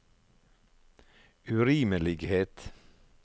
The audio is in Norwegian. urimelighet